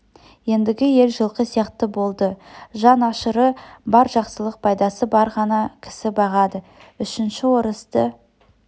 ендігі ел жылқы сияқты болды жан ашыры бар жақсылық пайдасы бар ғана кісі бағады үшінші орысты